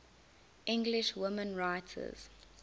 english women writers